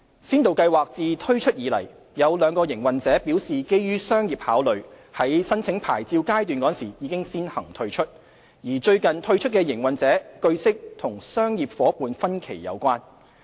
先導計劃自推出以來，有兩個營運者表示基於商業考慮，在申領牌照階段時先行退出；而最近退出的營運者，據悉與商業夥伴分歧有關。